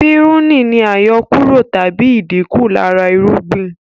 Pírùnì ni àyọkúrọ̀ tàbí ìdínkù lára irúgbìn